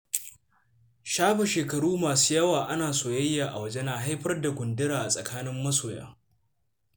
Shafe shekaru masu yawa ana soyayya a waje na haifar da gundura a tsakanin masoya.